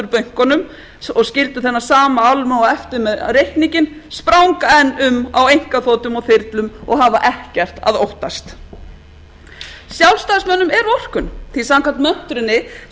bönkunum og skildu þennan sama almúga eftir með reikninginn spranga enn um á einkaþotum og þyrlum og hafa ekkert að óttast sjálfstæðismönnum er vorkunn því samkvæmt möntrunni sem þeir